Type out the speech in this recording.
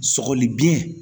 Sɔgɔli biɲɛ